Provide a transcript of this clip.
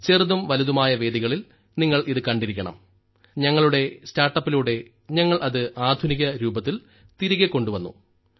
ചെറുതും വലുതുമായ വേദികളിൽ നിങ്ങൾ ഇത് കണ്ടിരിക്കണം ഞങ്ങളുടെ സ്റ്റാർട്ടപ്പിലൂടെ ഞങ്ങൾ അത് ആധുനിക രൂപത്തിൽ തിരികെ കൊണ്ടുവന്നു